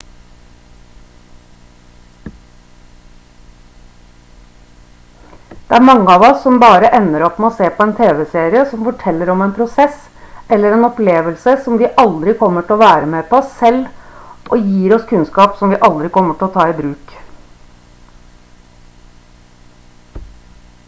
det er mange av oss som bare ender opp med å se på en tv-serie som forteller om en prosess eller opplevelse som vi aldri kommer til å være med på selv og gir oss kunnskap som vi aldri kommer til å ta i bruk